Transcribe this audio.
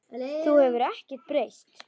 Þú hefur ekkert breyst.